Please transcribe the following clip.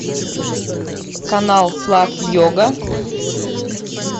канал славь йога